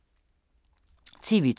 TV 2